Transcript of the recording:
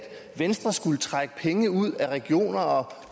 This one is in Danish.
venstre skulle trække penge ud af regioner og